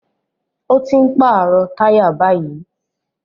Ó ti ń pàrọ̀ táyà báyìí